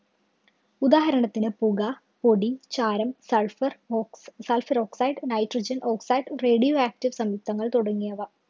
ഉദാഹരണത്തിന് പുക, പൊടി, ചാരം, sulpher ox sulpher oxide, nitrogen oxide, radio active സംയുക്തങ്ങള്‍ തുടങ്ങിയവ.